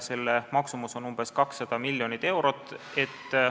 Selle maksumus on umbes 200 miljonit eurot.